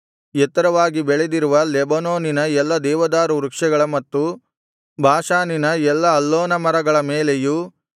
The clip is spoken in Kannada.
ಎತ್ತರವಾಗಿ ಬೆಳೆದಿರುವ ಲೆಬನೋನಿನ ಎಲ್ಲಾ ದೇವದಾರು ವೃಕ್ಷಗಳ ಮತ್ತು ಬಾಷಾನಿನ ಎಲ್ಲಾ ಅಲ್ಲೋನ ಮರಗಳ ಮೇಲೆಯೂ